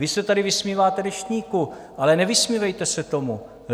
Vy se tady vysmíváte Deštníku, ale nevysmívejte se tomu!